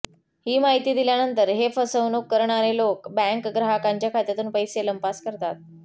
ही माहिती दिल्यानंतर हे फसवणूक करणारे लोक बॅंक ग्राहकाच्या खात्यातून पैसे लंपास करतात